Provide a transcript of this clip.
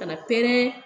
Ka na pɛrɛn